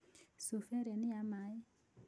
Cuba ĩrĩa nĩ ya maĩ.